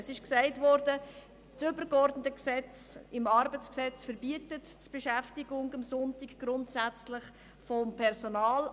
Es ist gesagt worden, dass das ArG als übergeordnetes Gesetz die Beschäftigung von Personal am Sonntag grundsätzlich verbietet.